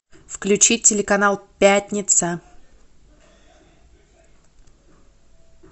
включи телеканал пятница